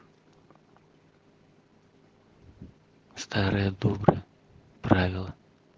старая добрая правила